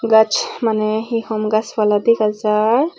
gaj maneh hi hom gaj pala dega jai.